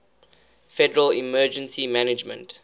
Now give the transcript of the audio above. federal emergency management